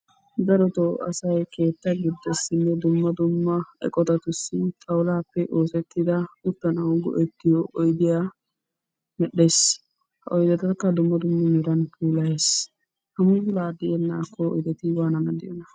Darotoo asay keetta giddossinne eqotatussi xawulaappe oosettida uttanawu go'ettiyo oydiya medhdhees. Ha oydetakka dumma dumma meran puulayees. Puulaa tiyennaakko hegeeti waanan diyonaa?